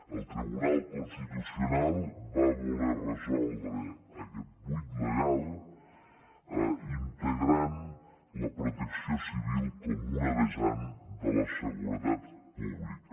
el tribunal constitucional va voler resoldre aquest buit legal integrant la protecció civil com una vessant de la seguretat pública